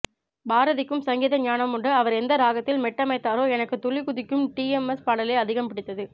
பாரதிக்கும் சங்கீத ஞானமுண்டு அவர் எந்த ராகத்தில் மெட்டமைத்தாரோ எனக்கு துள்ளி குதிக்கும் டி எம் எஸ் பாடலே அதிகம்பிடித்தது